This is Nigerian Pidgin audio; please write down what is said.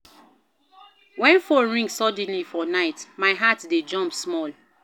Wen phone ring suddenly for night, my heart dey jump small.